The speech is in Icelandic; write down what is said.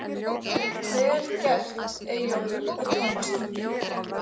Vel gert Eyjólfur og Tómas Ingi.